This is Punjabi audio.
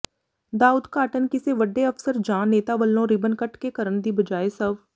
ਦਾ ਉਦਘਾਟਨ ਕਿਸੇ ਵੱਡੇ ਅਫਸਰ ਜਾਂ ਨੇਤਾ ਵੱਲੋਂ ਰਿਬਨ ਕੱਟ ਕੇ ਕਰਨ ਦੀ ਬਜਾਏ ਸਵ